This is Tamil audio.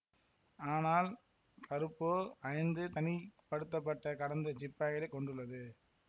ஆனால் கறுப்போ ஐந்து தனிப்படுத்தப்பட்ட கடந்த சிப்பாய்களைக் கொண்டுள்ளது